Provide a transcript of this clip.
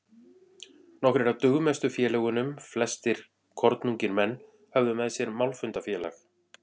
Nokkrir af dugmestu félögunum, flestir kornungir menn, höfðu með sér málfundafélag